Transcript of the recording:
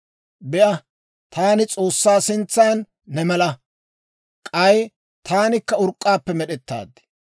«Be'a, taani S'oossaa sintsan ne mala; k'ay taanikka urk'k'aappe med'ettaad.